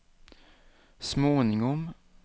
småningom